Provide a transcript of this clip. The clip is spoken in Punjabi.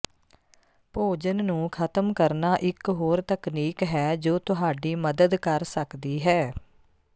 ਭੋਜਨ ਨੂੰ ਖਤਮ ਕਰਨਾ ਇੱਕ ਹੋਰ ਤਕਨੀਕ ਹੈ ਜੋ ਤੁਹਾਡੀ ਮਦਦ ਕਰ ਸਕਦੀ ਹੈ